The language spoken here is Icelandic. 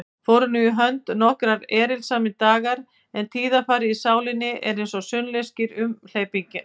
Fóru nú í hönd nokkrir erilsamir dagar, en tíðarfarið í sálinni var einsog sunnlenskir umhleypingar.